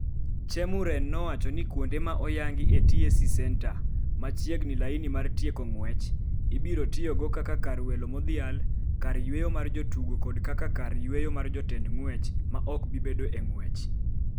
Chemuren nowacho ni kuonde ma oyangi e TAC Centre, machiegni laini mar tieko ng’wech, ibiro tiyogo kaka kar welo modhial, kar yweyo mar jotugo kod kaka kar yweyo mar jotend ng’wech ma ok bi bedo e ng’wech.